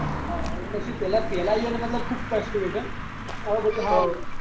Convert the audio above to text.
હા એટલે શું પહેલા પેહલા એને ખુબ કષ્ટ રહ્યો છે હવે બધું હારું